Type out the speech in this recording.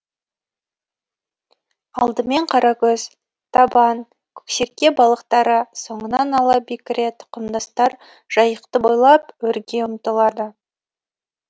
алдымен қаракөз табан көксерке балықтары соңын ала бекіре тұқымдастар жайықты бойлап өрге ұмтылады